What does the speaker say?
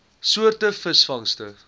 soort visvangste